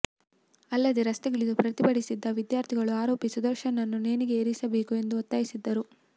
ಅಲ್ಲದೆ ರಸ್ತೆಗಿಳಿದು ಪ್ರತಿಭಟಿಸಿದ್ದ ವಿದ್ಯಾರ್ಥಿಗಳು ಆರೋಪಿ ಸುದರ್ಶನ್ ನನ್ನು ನೇಣಿಗೆ ಏರಿಸಬೇಕು ಎಂದು ಒತ್ತಾಯಿಸಿದ್ದರು